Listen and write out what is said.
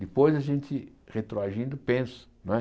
Depois, a gente, retroagindo, pensa. Não é